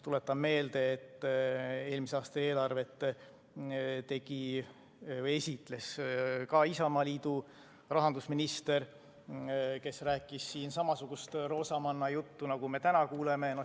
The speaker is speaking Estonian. Tuletan meelde, et eelmise aasta eelarvet esitles Isamaa rahandusminister, kes rääkis siin samasugust roosamannajuttu, nagu me täna kuuleme.